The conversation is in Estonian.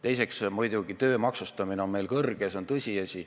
Teiseks, muidugi töö maksustamine on meil kõrge, see on tõsiasi.